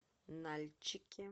нальчике